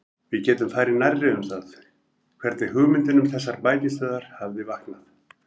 Við getum farið nærri um það, hvernig hugmyndin um þessar bækistöðvar hafði vaknað.